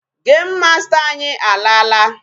Game master anyị alaala.